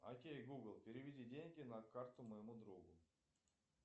окей гугл переведи деньги на карту моему другу